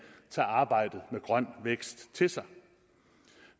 tager arbejdet med grøn vækst til sig